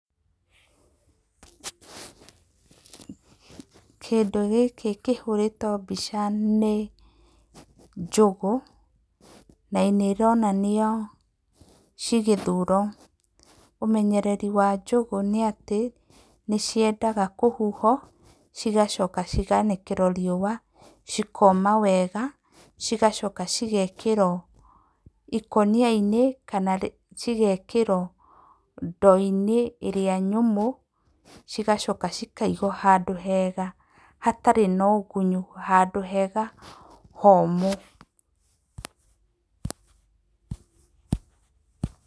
Kĩndũ gĩkĩ kĩhũrĩtwo mbica nĩ njũgũ na nĩ ironanio cigĩthurwo. Umenyereri wa njũgũ nĩ atĩ nĩ ciendaga kũhuhwo cigacoka cikaanĩkĩrwo riũa cikoma wega. Cigacoka cigekĩrwo ikũnia-inĩ kana cigekĩrwo ndoo-inĩ ĩrĩa nyũmũ. Cigacoka cikaigwo handũ hega hatarĩ na ũgunyu, handũ hega homũ.